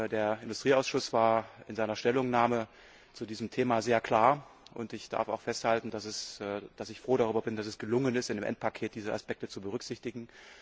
Der Industrieausschuss war in seiner Stellungnahme zu diesem Thema sehr klar, und ich darf auch festhalten, dass ich froh darüber bin, dass es gelungen ist, diese Aspekte in dem Endpaket zu berücksichtigen.